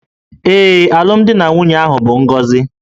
Ee, alụmdi na nwunye ahụ bụ ngọzi